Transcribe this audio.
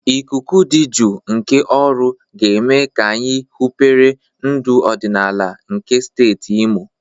Ikuku dị jụụ nke Oru ga-eme ka anyị hụpere ndụ ọdịnala nke steeti Imo.